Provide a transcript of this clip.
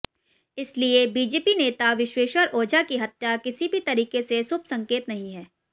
इसलिए बीजेपी नेता विशेश्वर ओझा की हत्या किसी भी तरीके से शुभसंकेत नहीं है